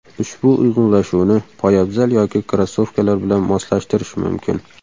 Ushbu uyg‘unlashuvni poyabzal yoki krossovkalar bilan moslashtirish mumkin.